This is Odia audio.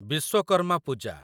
ବିଶ୍ୱକର୍ମା ପୂଜା